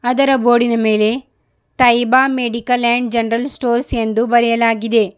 ಇದರ ಬೋರ್ಡಿನ ಮೇಲೆ Taiba medical and general stores ಎಂದು ಬರೆಯಲಾಗಿದೆ.